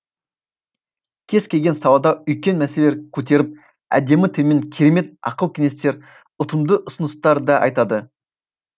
кез келген салада үлкен мәселелер көтеріп әдемі тілмен керемет ақыл кеңестер ұтымды ұсыныстар да айтады